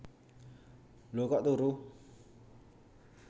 Lho kok turu